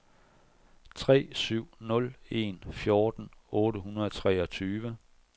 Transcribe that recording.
tre syv nul en fjorten otte hundrede og treogtyve